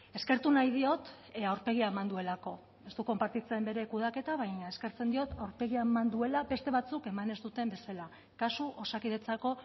eskertu nahi diot aurpegia eman duelako ez dut konpartitzen bere kudeaketa baina eskertzen diot aurpegia eman duela beste batzuek eman ez duten bezala kasu osakidetzako